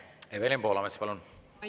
Evelin Poolamets, palun!